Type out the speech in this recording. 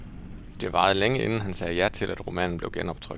Det varede længe, inden han sagde ja til, at romanen blev genoptrykt.